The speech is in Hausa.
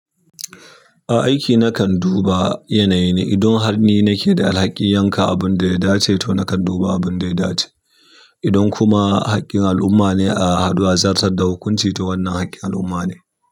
Aiki na kanduba yanayi ne idan har ni nake da alhakin yanka abun da ya dace to nakan duba abun da ya dace. Idan kuma haƙƙin al'umma ne a haduwa, zartar da hukunci to wannan haƙƙin al'umma ne.